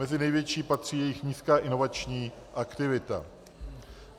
Mezi největší patří jejich nízká inovační aktivita.